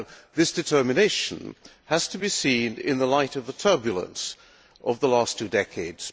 This determination has to be seen in the light of the turbulence of the last two decades.